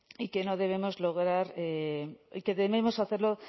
y que debemos hacerlo